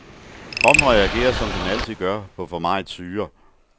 Kroppen reagerer som den altid gør på for meget syre.